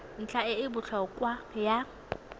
ntlha e e botlhokwa ya